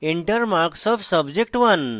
enter marks of subject1